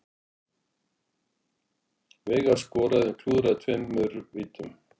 Veigar skoraði en klúðraði tveimur vítum